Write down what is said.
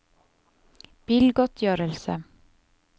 bilgodtgjørelse